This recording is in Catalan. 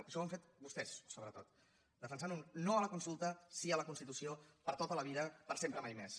això ho han fet vostès sobretot defensant un no a la consulta sí a la constitució per a tota la vida per sempre més